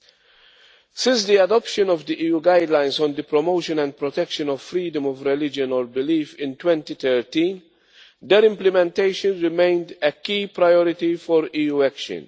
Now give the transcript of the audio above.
First, since the adoption of the EU Guidelines on the promotion and protection of freedom of religion or belief in 2013, their implementation has remained a key priority for EU action.